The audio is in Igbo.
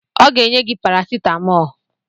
Ọ ga-enye gị parasetamọlụ